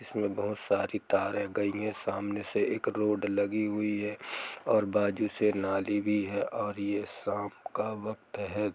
इसमें बहुत सारी तारे गयी हुई है सामने से एक रोड लगी हुई है और बाजु से नाली भी है और ये शाम का वक्त है।